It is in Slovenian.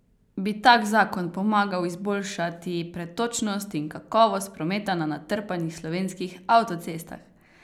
Bi tak zakon pomagal izboljšati pretočnost in kakovost prometa na natrpanih slovenskih avtocestah?